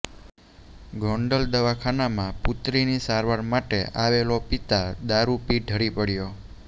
ગોંડલ દવાખાનામાં પુત્રીની સારવાર માટે આવેલો પિતા દારૂ પી ઢળી પડ્યો